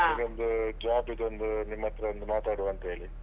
ಅವನಿಗೊಂದು job ದೊಂದು ನಿಮ್ಮತ್ರ ಒಂದು ಮಾತಾಡುವಂಥ ಹೇಳಿ.